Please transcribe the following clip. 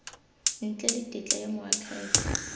ntle le tetla ya moakhaefe